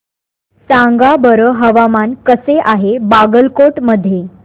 सांगा बरं हवामान कसे आहे बागलकोट मध्ये